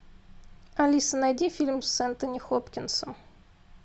алиса найди фильм с энтони хопкинсом